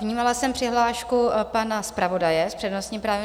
Vnímala jsem přihlášku pana zpravodaje s přednostním právem.